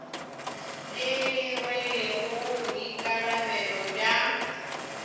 le le rwelego boikarabelo bja